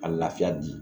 A lafiya di